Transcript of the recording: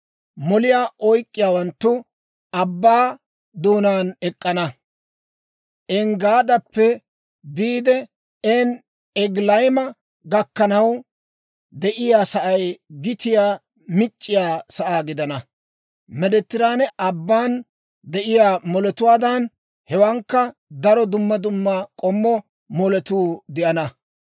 Moliyaa oyk'k'iyaawanttu abbaa doonaan ek'k'ana; Enggaadappe biide En-Egilayima gakkanaw de'iyaa sa'ay gitiyaa mic'c'iyaa sa'aa gidana. Meediteraane Abban de'iyaa moletuwaadan, hewankka daro dumma dumma k'ommo moletuu de'ana.